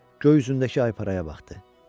Göy üzündəki ayparaya baxdı.